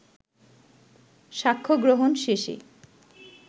সাক্ষ্যগ্রহণ শেষে